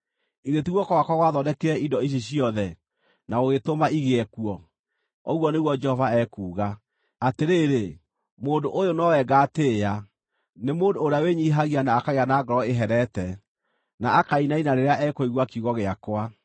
Githĩ ti guoko gwakwa gwathondekire indo ici ciothe, na gũgĩtũma igĩe kuo?” ũguo nĩguo Jehova ekuuga. “Atĩrĩrĩ, mũndũ ũyũ nowe ngaatĩĩa: nĩ mũndũ ũrĩa wĩnyiihagia na akagĩa na ngoro ĩherete, na akainaina rĩrĩa ekũigua kiugo gĩakwa.